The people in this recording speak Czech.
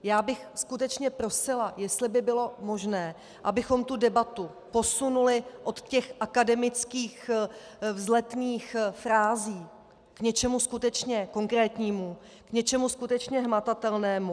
Já bych skutečně prosila, jestli by bylo možné, abychom tu debatu posunuli od těch akademických vzletných frází k něčemu skutečně konkrétnímu, k něčemu skutečně hmatatelnému.